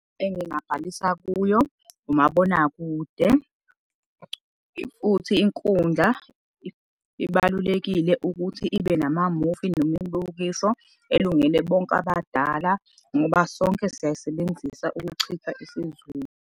Engingabhalisa kuyo, umabonakude, futhi inkundla ibalulekile ukuthi ibe namamuvi, nemibukiso elungele bonke abadala ngoba sonke siyayisebenzisa ukuchitha isizungu.